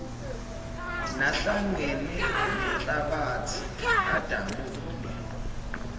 nahlangene nenhlabathi adabule